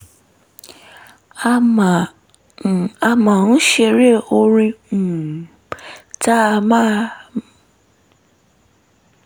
a um máa ń ṣeré orin um um tá a máa